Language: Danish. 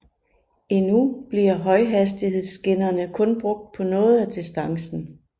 Endnu bliver højhastighedsskinnerne kun brugt på noget af distancen